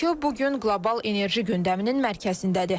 Bakı bu gün qlobal enerji gündəminin mərkəzindədir.